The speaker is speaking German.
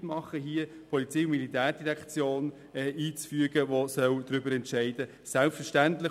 Ich mache dem Rat beliebt, einzufügen, dass die POM entscheiden soll.